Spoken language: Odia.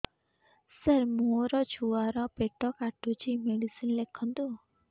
ସାର ମୋର ଛୁଆ ର ପେଟ କାଟୁଚି ମେଡିସିନ ଲେଖନ୍ତୁ